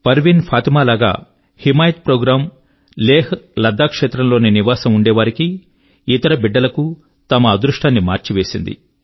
పర్వీన్ ఫాతిమా లాగా హిమాయత్ ప్రోగ్రామ్ లేహ్లద్దాఖ్ క్షేత్రం లోని నివాసులకు ఇతర బిడ్డల కు తమ అదృష్టాన్ని మార్చివేసింది